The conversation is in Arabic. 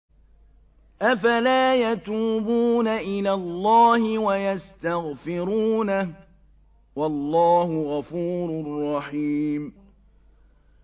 أَفَلَا يَتُوبُونَ إِلَى اللَّهِ وَيَسْتَغْفِرُونَهُ ۚ وَاللَّهُ غَفُورٌ رَّحِيمٌ